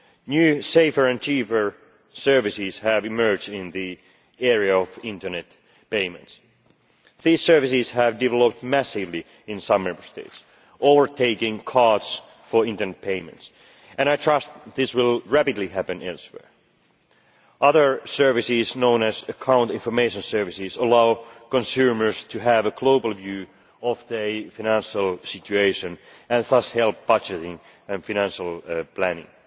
New, safer and cheaper services have emerged in the area of internet payments. These services have developed massively in some Member States, overtaking cards for internet payments, and I trust this will rapidly happen elsewhere. Other services known as account information services allow consumers to have a global view of their financial situation and thus help budgeting and financial planning.